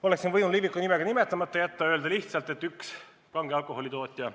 Oleksin võinud Liviko nime ka nimetamata jätta ja öelda lihtsalt, et üks kange alkoholi tootja.